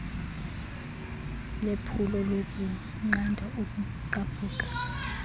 lephulo lokunqanda ukugqabhuka